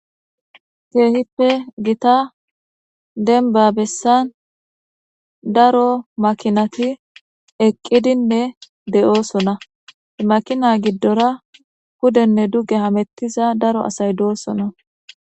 keehippe gita denba bessan daro makinati eqqidinne de7oosona makina giddora kudenne duge hamettiza daro asay doosona